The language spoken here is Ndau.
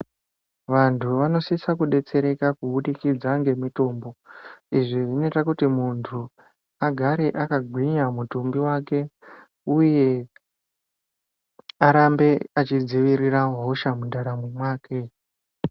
Vantu vanosise kubetsereka kubudikidza ngemitombo. Izvi zvinoite kuti muntu agare akagwinya mutumbi wake uye arambe achidzivirira hosha mundaramo mwake.